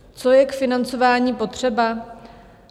Co je k financování potřeba?